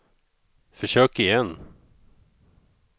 försök igen